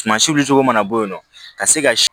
Sumasi wulicogo mana bɔ yen nɔ ka se ka si